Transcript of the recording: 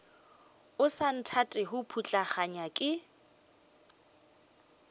o sa nthatego putlaganya ke